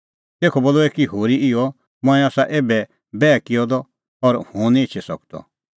तेखअ बोलअ एकी होरी इहअ मंऐं आसा एभै बैह किअ द और हुंह निं एछी सकदअ